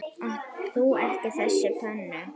Átt þú ekki þessa pönnu?